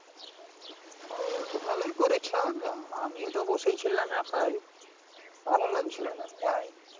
ও ভালোই করেছো আমিও তো বসে ছিলাম একা ভালো লাগছিলো না তাই,